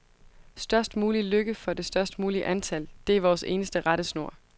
Størst mulig lykke for det størst mulige antal, det er vores eneste rettesnor.